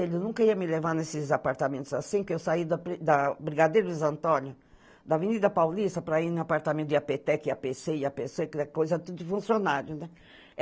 Ele nunca ia me levar nesses apartamentos assim, que eu saí da da Brigadeiros Antônio, da Avenida Paulista, para ir no apartamento i á pê tec, i á pê cê, i á pê cê, que era coisa tudo de funcionário, né?